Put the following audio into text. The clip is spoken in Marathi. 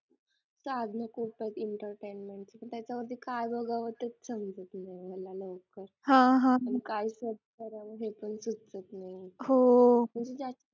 entertainment त्याच्यावरती काय बघावं तेच समजत नाही मला नेमकं, आणि काय search करावं हे पण सुचत नाही